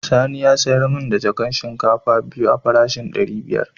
Sani ya sayar min da jakan shinkafa biyu a farashin dari biyar.